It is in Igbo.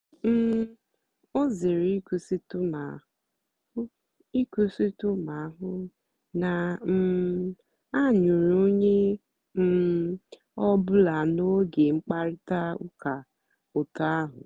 um ọ zèrè ị̀kwụ́sị̀tụ́ mà hụ́ ị̀kwụ́sị̀tụ́ mà hụ́ na um a nụ̀rù ònyè um ọ́bụ́là n'ógè mkpáịrịtà ụ́ka otù ahụ́.